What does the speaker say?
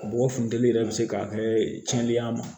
Mɔgɔ funteni yɛrɛ bɛ se k'a kɛ tiɲɛni y'a ma